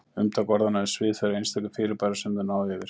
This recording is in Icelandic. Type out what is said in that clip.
Umtak orðanna er svið þeirra einstöku fyrirbæra sem þau ná yfir.